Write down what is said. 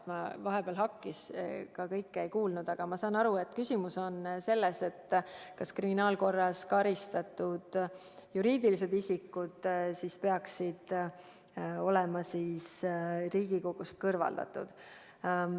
Vahepeal hakkis, kõike ma ei kuulnud, aga ma saan aru, et küsimus on selles, et kas kriminaalkorras karistatud juriidilised isikud peaksid olema Riigikogust kõrvaldatud.